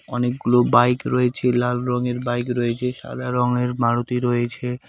অনেকগুলো বাইক রয়েছে লাল রংয়ের বাইক রয়েছে সাদা রংয়ের মারুতি রয়েছে।